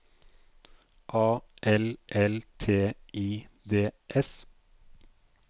A L L T I D S